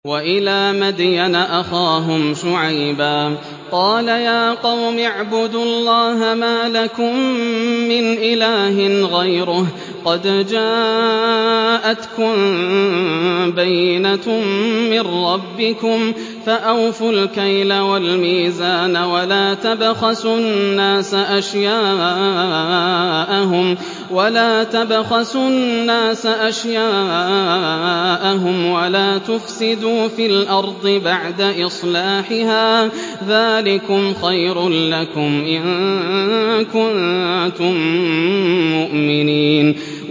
وَإِلَىٰ مَدْيَنَ أَخَاهُمْ شُعَيْبًا ۗ قَالَ يَا قَوْمِ اعْبُدُوا اللَّهَ مَا لَكُم مِّنْ إِلَٰهٍ غَيْرُهُ ۖ قَدْ جَاءَتْكُم بَيِّنَةٌ مِّن رَّبِّكُمْ ۖ فَأَوْفُوا الْكَيْلَ وَالْمِيزَانَ وَلَا تَبْخَسُوا النَّاسَ أَشْيَاءَهُمْ وَلَا تُفْسِدُوا فِي الْأَرْضِ بَعْدَ إِصْلَاحِهَا ۚ ذَٰلِكُمْ خَيْرٌ لَّكُمْ إِن كُنتُم مُّؤْمِنِينَ